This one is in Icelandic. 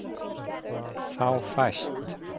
Þá fæst